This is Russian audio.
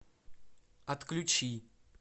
отключи